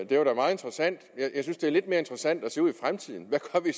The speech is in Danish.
det var da meget interessant men jeg synes det er lidt mere interessant at se ud i fremtiden